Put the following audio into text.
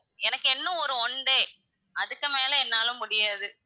எனக்கு இன்னும் ஒரு one day அதுக்கு மேல என்னால முடியாது.